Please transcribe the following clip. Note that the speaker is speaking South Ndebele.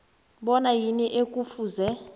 bona yini ekufuze